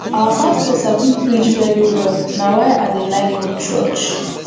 our pastor sabi preach very well na why i dey like go church